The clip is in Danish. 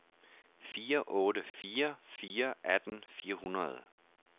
fire otte fire fire atten fire hundrede